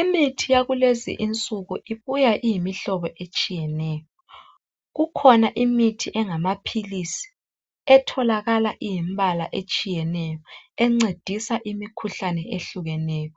Imithi yakulezi insuku ibuya iyimihlobo etshiyeneyo. Kukhona imithi engamaphilisi etholakala iyimibala etshiyeneyo encedisa imikhuhlane ehlukeneyo.